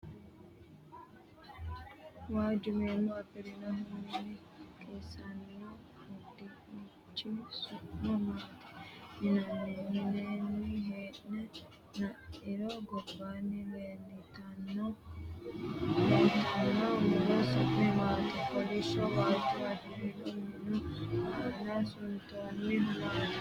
Waajju meemo afi'rinohu mine qiissanno uduunnichi su'ma maati yinanni ? Mineenni hee'ne la'niro gobbaanni leeltano muro su'mi maati ? kollishsho waajo afi'rinohu minu aana suntoonnuhu maati ?